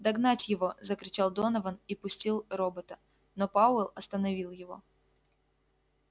догнать его закричал донован и пустил робота но пауэлл остановил его